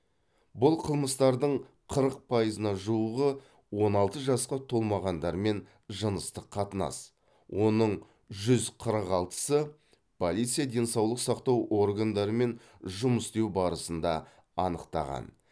бұл қылмыстардың қырық пайызына жуығы он алты жасқа толмағандармен жыныстық қатынас оның жүз қырық алтысы полиция денсаулық сақтау органдарымен жұмыс істеу барысында анықтаған